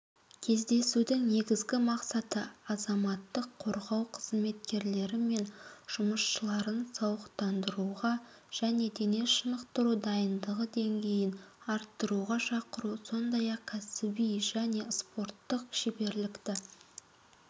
кездесудің негізгі мақсаты азаматтық қорғау қызметкерлері мен жұмысшыларын сауықтыруға және дене шынықтыру дайындығы деңгейін арттыруға шақыру сондай-ақ кәсіби және спорттық шеберлікті